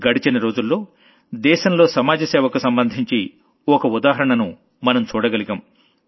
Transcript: గడచిన రోజుల్లో దేశంలో సమాజ సేవకు సంబంధించి ఓ ఉదాహరణను మనం చూడగలిగాం